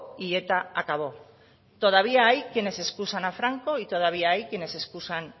y eta acabó todavía hay quienes excusan a franco y todavía hay quienes excusan